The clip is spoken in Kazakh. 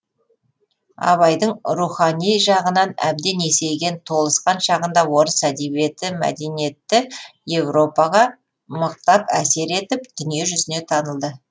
абайдың рухани жағынан әбден есейген толысқан шағында орыс әдебиеті мәдениетті европаға мықтап әсер етіп дүние жүзіне танылды